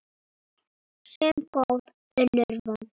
Sum góð, önnur vond.